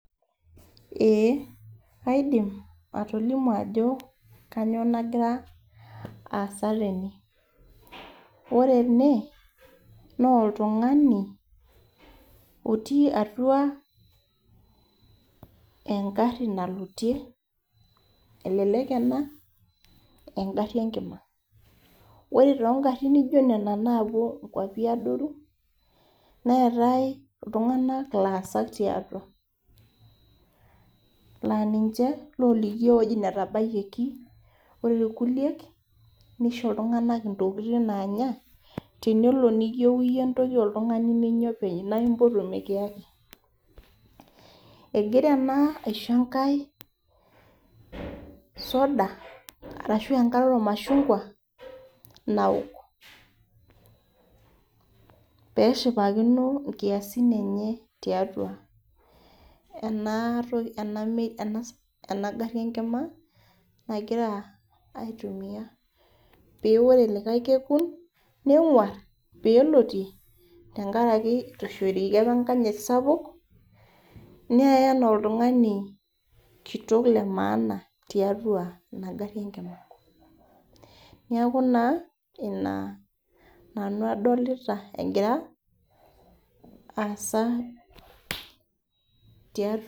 Ee kaidim atolimu ajo kainyioo nagira aasa tene, ore ene, naa oltungani otii atua egari nalotie, elelek ena ,egari enkima. ore too garin neijo Nena naapuo nkuapi adoru. neetae iltunganak laasak tiatua. laa ninche looliki iyiook ewueji netabaiki. ore irkuliek, nisho iltunganak intokitin naanya. teniko niyieu iyie entoki ninyia, naa impotu mikiyakini. egira ena aisho enkae, soda arashu enkare oormashungua naok. pee eshipakino nkiasin enye tiatua ena gari enkima nagira aitumia. pee ore likae kekun, nenguar, peeloitie. tenkaraki ishorieki apa enkanyit sapuk. neeye anaa oltungani kitoki lemaana tiatua inagari enkima. neeku naa Ina nanu adolita egira aasa .